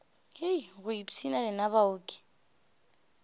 hei go ipshina lena baoki